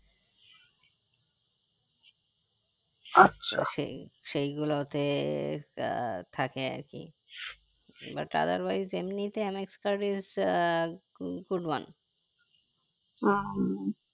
তো সেই সেই গুলোতে আহ থাকে আরকি but otherwise এমনিতে MX card use আহ good one